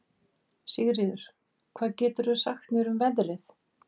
Sigríður, hvað geturðu sagt mér um veðrið?